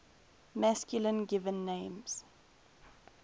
masculine given names